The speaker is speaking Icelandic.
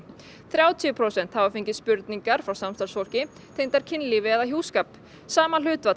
þrjátíu prósent hafa fengið óþægilegar spurningar frá samstarfsfólki tengdar kynlífi eða hjúskap sama hlutfall